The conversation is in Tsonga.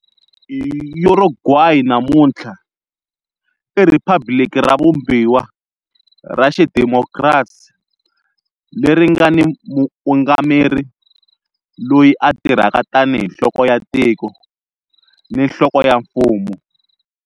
Uruguay namuntlha i riphabliki ra vumbiwa ra xidemokirasi, leri nga ni muungameri loyi a tirhaka tanihi nhloko ya tiko ni nhloko ya mfumo.